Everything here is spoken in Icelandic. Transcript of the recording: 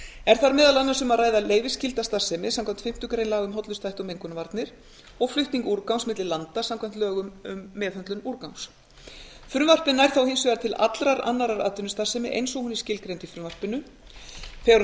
er þar meðal annars um að ræða leyfisskylda starfsemi samkvæmt fimmtu grein laga um hollustuhætti og mengunarvarnir og flutning úrgangs milli landa samkvæmt lögum um meðhöndlun úrgangs frumvarpið nær þá hins vegar til allrar annarrar atvinnustarfsemi eins og hún er skilgreind í frumvarpinu þegar um